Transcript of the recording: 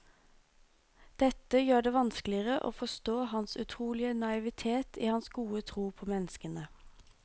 Dette gjør det vanskeligere å forstå hans utrolige naivitet i hans gode tro på menneskene.